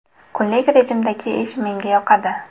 Kunlik rejimdagi ish menga yoqadi.